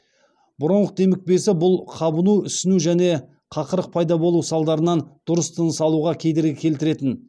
бронх демікпесі бұл қабыну ісіну және қақырық пайда болу салдарынан дұрыс тыныс алуға кедергі келтіретін